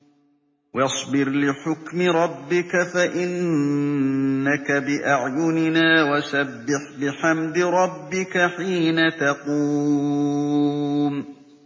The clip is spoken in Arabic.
وَاصْبِرْ لِحُكْمِ رَبِّكَ فَإِنَّكَ بِأَعْيُنِنَا ۖ وَسَبِّحْ بِحَمْدِ رَبِّكَ حِينَ تَقُومُ